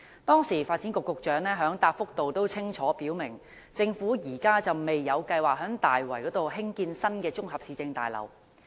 當時，發展局局長在答覆中清楚表明，政府現時未有計劃在大圍興建新的綜合市政大樓。